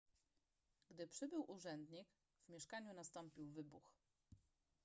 gdy przybył urzędnik w mieszkaniu nastąpił wybuch